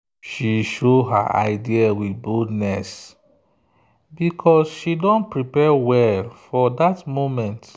she show her idea with boldness because she don prepare well for that moment.